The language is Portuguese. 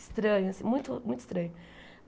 Estranho assim, muito muito estranho.